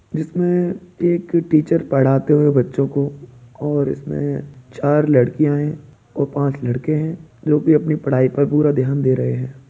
इसमें एक टीचर पढ़ाते हुए बच्चों को और इसमें चार लड़कियां हैं और पाँच लड़के हैं जोकि अपनी पढ़ाई पर पूरा ध्यान दे रहे हैं।